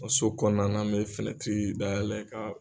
Nka so kɔnɔna na, bɛ finɛtiri dayɛlɛ ka.